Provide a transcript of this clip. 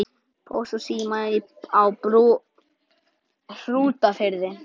Pósts og síma á Brú í Hrútafirði.